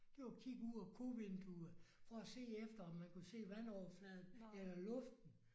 Det var at kigge ud af kovinduet for at se efter om man kunne se vandoverfladen eller luften